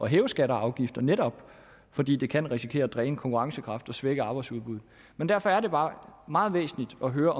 hæve skatter og afgifter altså netop fordi det kan risikere at dræne konkurrencekraften og svække arbejdsudbuddet men derfor er det bare meget væsentligt at høre